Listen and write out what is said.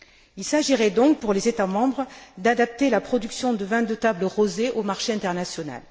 Il s'agirait donc, pour les États membres, d'adapter la production de vins de table rosés au marché international.